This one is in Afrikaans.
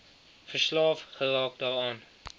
verslaaf geraak daaraan